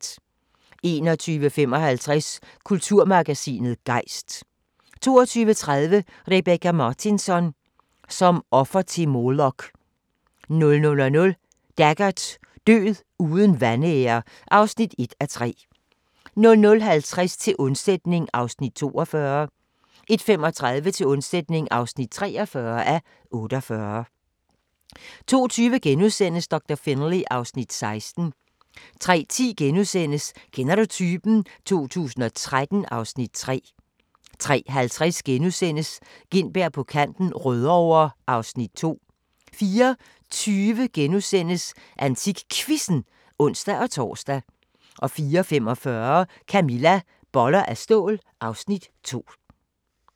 21:55: Kulturmagasinet Gejst 22:30: Rebecka Martinsson: Som offer til Molok 00:00: Taggart: Død uden vanære (1:3) 00:50: Til undsætning (42:48) 01:35: Til undsætning (43:48) 02:20: Doktor Finlay (Afs. 16)* 03:10: Kender du typen? 2013 (Afs. 3)* 03:50: Gintberg på kanten - Rødovre (Afs. 2)* 04:20: AntikQuizzen *(ons-tor) 04:45: Camilla – Boller af stål (Afs. 2)